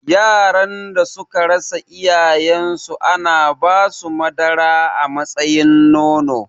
Yaran da suka rasa iyayen su ana basu madara a matsayin nono